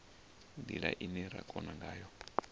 ndila ine ra kona ngayo